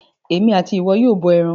Èmi àti ìwọ yóò bọ ẹran.